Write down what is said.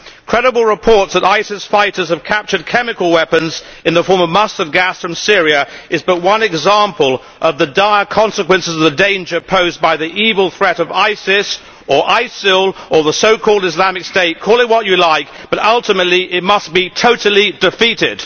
Credible reports that ISIS fighters have captured chemical weapons in the form of mustard gas from Syria is but one example of the dire consequences of the danger posed by the evil threat of ISIS or ISIL or the so called Islamic State call it what you like, but ultimately it must be totally defeated.